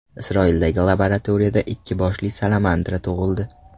Isroildagi laboratoriyada ikki boshli salamandra tug‘ildi.